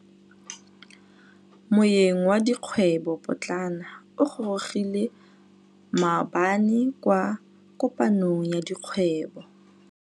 Moêng wa dikgwêbô pôtlana o gorogile maabane kwa kopanong ya dikgwêbô.